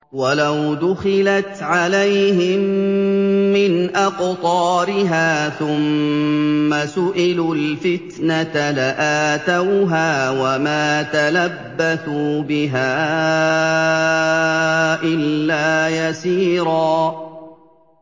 وَلَوْ دُخِلَتْ عَلَيْهِم مِّنْ أَقْطَارِهَا ثُمَّ سُئِلُوا الْفِتْنَةَ لَآتَوْهَا وَمَا تَلَبَّثُوا بِهَا إِلَّا يَسِيرًا